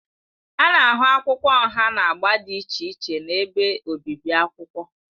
A na-ahụ akwụkwọ nha na agba dị iche iche na ebe obibi akwụkwọ.